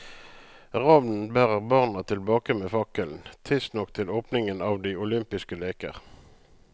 Ravnen bærer barna tilbake med fakkelen, tidsnok til åpningen av de olympiske leker.